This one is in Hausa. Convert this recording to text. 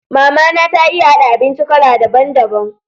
Mama na ta iya haɗa abinci kala daban daban.